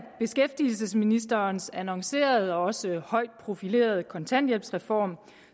beskæftigelsesministerens annoncerede og også højt profilerede kontanthjælpsreform